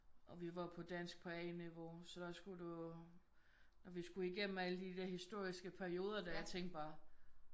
Og vi var på dansk på A-niveau så der skulle du og vi skulle igennem alle de der historiske perioder der og jeg tænkte bare